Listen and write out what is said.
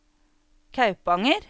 Kaupanger